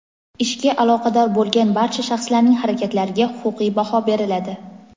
ishga aloqador bo‘lgan barcha shaxslarning harakatlariga huquqiy baho beriladi.